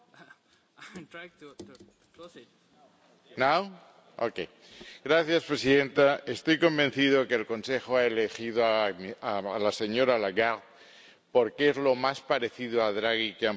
Señora presidenta, estoy convencido de que el Consejo ha elegido a la señora Lagarde porque es lo más parecido a Draghi que han podido encontrar en el mercado.